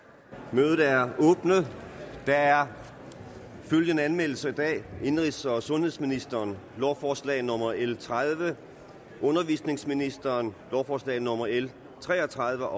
mødet er åbnet der er følgende anmeldelser i dag indenrigs og sundhedsministeren lovforslag nummer l tredive undervisningsministeren lovforslag nummer l tre og tredive og